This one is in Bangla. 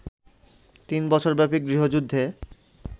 তিন বছরব্যাপী গৃহযুদ্ধে